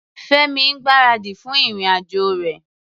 Fẹ́mi ń gbáradì fún ìrìn-àjò rẹ̀.